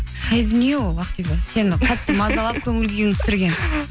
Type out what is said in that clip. не дүние ол ақбибі сені қатты мазалап көңіл күйіңді түсірген